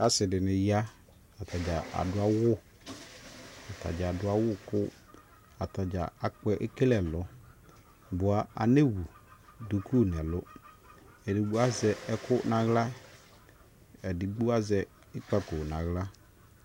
Asii dini yaa Atani aduawu aduawu kʋ ataɖʒa akpɛ ekele ɛlɔɔ bua anewu duku nɛlu Edigbo aʒɛ ɛku naɣla ɛdigbo aʒɛ ikpako naɣla